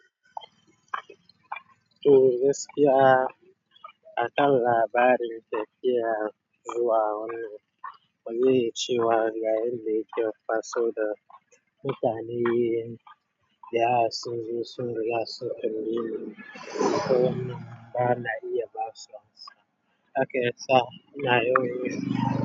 To gaskiya, a kan labarin tafiya zuwa, wani ya cewa ga yanda yake fa saboda mutane yayin da ya zo sun riga sun yi. To ba na iya basu haka sa'a naya.